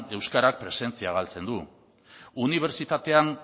euskarak presentzia galtzen du unibertsitatea